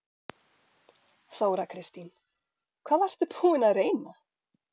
Þóra Kristín: Hvað varstu búinn að reyna?